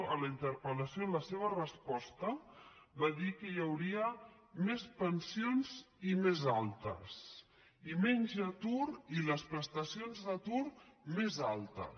en la interpelresposta va dir que hi hauria més pensions i més altes i menys atur i les prestacions d’atur més altes